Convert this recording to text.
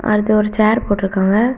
அடுத்து ஒரு சேர் போட்ருக்காங்க.